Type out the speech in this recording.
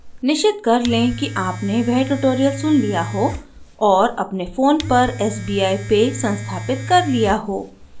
निश्चित कर लें कि आपने वह ट्यूटोरियल सुन लिया हो और अपने फ़ोन पर sbi pay संस्थापित कर लिया हो